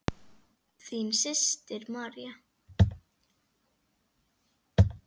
Þín systir, María.